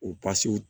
U pasi